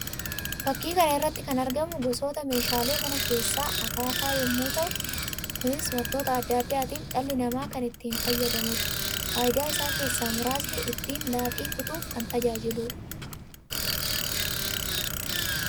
Fakkii kana irratti kan argamu gosoota meeshaalee manaa keesaa akaafaa yammuu ta'u; kunis wantoota addaa addaatiif dhalli namáa kan itti fayyadamuu dha. Faayidaa isaa keessaa muraasni ittiin laaqii kutuuf kan tajaajiluudha.